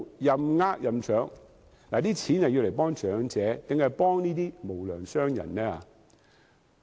這些金錢是幫助長者，還是幫助這些無良商人呢？